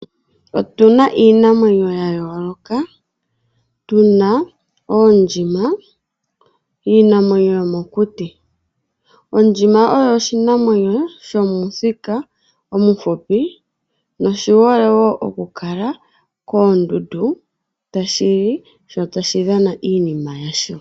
Otuna iinamwenyo ya yooloka tuna oondjima iinamwenyo yomokuti ,ondjima oyo oshinamwenyo shomuthika omuhupi noshi hole wo okukala koondundu tashi li sho tashi dhana iinima yasho.